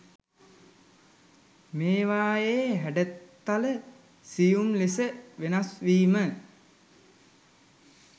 මේවායේ හැඩතල සියුම් ලෙස වෙනස්වීම